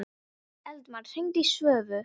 Eldmar, hringdu í Svövu.